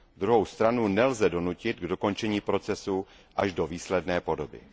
Druhou stranu nelze donutit k dokončení procesu až do výsledné podoby.